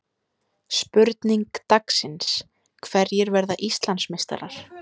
Spurning dagsins: Hverjir verða Íslandsmeistarar?